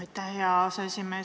Aitäh, hea aseesimees!